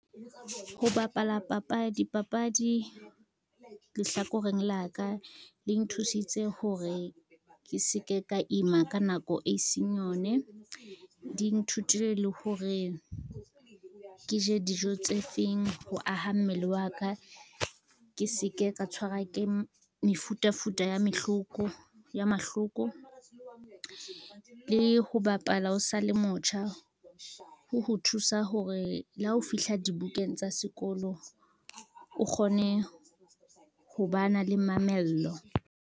Ho bapala dipapadi lehlakoreng la ka, di nthusitse hore ke se ke ka ima ka nako e seng yone. Di nthutile le hore ke je dijo tse feng ho aha mmele wa ka, ke se ke ka tshwarwa ke mefutafuta ya mahloko, le ho bapala o sa le motjha ho ho thusa hore le ha ho fihla dibukeng tsa sekolo, o kgone ho ba na le mamello.